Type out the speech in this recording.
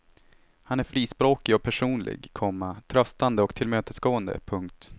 Han är frispråkig och personlig, komma tröstande och tillmötesgående. punkt